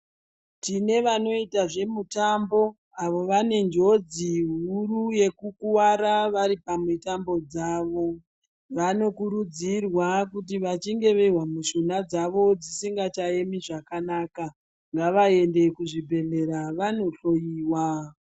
Tine vanoita zvemutambo avo vane njodzi huru yekukuvara vari pamutambo dzavo vanokurudzirwa kuti kana vachinge vozwa mishuna dzavo dzisingacha emi zvakanaka vaende kuzvibhedhlera vanohloyiwa.